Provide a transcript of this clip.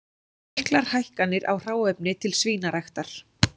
Miklar hækkanir á hráefni til svínaræktar